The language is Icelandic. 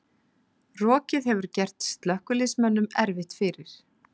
Rokið hefur gert slökkviliðsmönnum erfitt fyrir